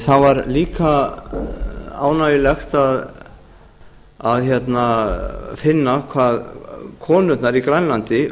það var líka ánægjulegt að finna hvað konurnar í grænlandi